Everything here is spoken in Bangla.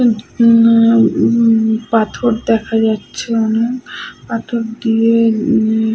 উ না উ-উ পাথর দেখা যাচ্ছে অনেক । পাথর দিয়ে উম--